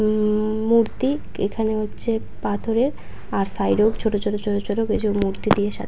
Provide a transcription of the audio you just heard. উমম মূর্তি এখানে হচ্ছে পাথরের আর সাইড -ও ছোট ছোট ছোট ছোট কিছু মূর্তি দিয়ে সাজানো ।